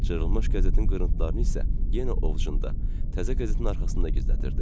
Cırılmış qəzetin qırıntılarını isə yenə ovcunda təzə qəzetin arxasında gizlədirdi.